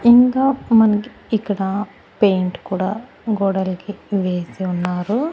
ఇంకా మనకి ఇక్కడ పెయింట్ కూడా గోడలకి వేసి ఉన్నారు.